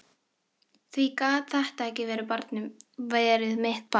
Því gat þetta ekki verið mitt barn.